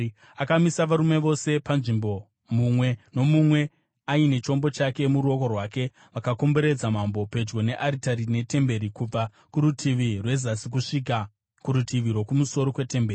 Akamisa varume vose panzvimbo, mumwe nomumwe aine chombo chake muruoko rwake, vakakomberedza mambo, pedyo nearitari netemberi, kubva kurutivi rwezasi kusvika kurutivi rwokumusoro kwetemberi.